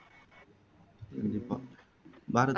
கண்டிப்பா பாரத்